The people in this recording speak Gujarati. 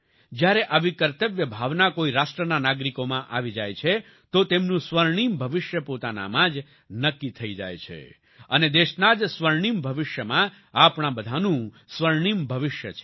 જ્યારે આવી કર્તવ્ય ભાવના કોઈ રાષ્ટ્રના નાગરિકોમાં આવી જાય છે તો તેમનું સ્વર્ણિમ ભવિષ્ય પોતાનામાં જ નક્કી થઈ જાય છે અને દેશના જ સ્વર્ણિમ ભવિષ્યમાં આપણા બધાનું સ્વર્ણિમ ભવિષ્ય છે